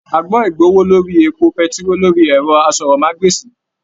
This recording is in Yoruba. A gbọ igbowó lórí èpo pẹ̀tiroo lórí ẹrọ àsọ̀rọ̀mágbèsi.